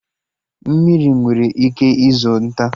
Mmiri nwere ike izo nta